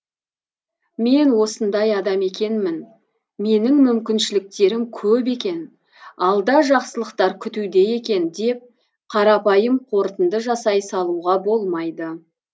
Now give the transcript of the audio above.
мен осындай адам екенмін менің мүмкіншіліктерім көп екен алда жақсылықтар күтуде екен деп қарапайым қорытынды жасай салуға болмайды